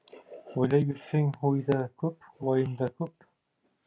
ойлай берсең ой да көп уайым да көп